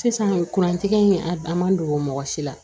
Sisan kurantigi in a dan man don mɔgɔ si la